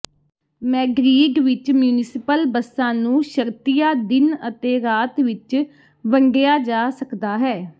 Madrid ਵਿਚ municipal ਬੱਸਾਂ ਨੂੰ ਸ਼ਰਤੀਆ ਦਿਨ ਅਤੇ ਰਾਤ ਵਿਚ ਵੰਡਿਆ ਜਾ ਸਕਦਾ ਹੈ